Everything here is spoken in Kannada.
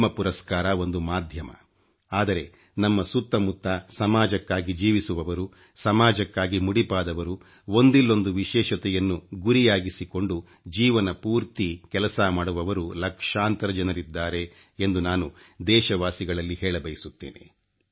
ಪದ್ಮ ಪುರಸ್ಕಾರ ಒಂದು ಮಾಧ್ಯಮ ಆದರೆ ನಮ್ಮ ಸುತ್ತ ಮುತ್ತ ಸಮಾಜಕ್ಕಾಗಿ ಜೀವಿಸುವವರು ಸಮಾಜಕ್ಕಾಗಿ ಮುಡಿಪಾದವರು ಒಂದಿಲ್ಲೊಂದು ವಿಶೇಷತೆಯನ್ನು ಗುರಿಯಾಗಿಸಿಕೊಂಡು ಜೀವನ ಪೂರ್ತಿ ಕೆಲಸ ಮಾಡುವವರು ಲಕ್ಷಾಂತರ ಜನರಿದ್ದಾರೆ ಎಂದು ನಾನು ದೇಶವಾಸಿಗಳಲ್ಲಿ ಹೇಳಬಯಸುತ್ತೇನೆ